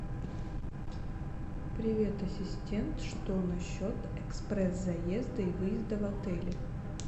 привет ассистент что насчет экспресс заезда и выезда в отеле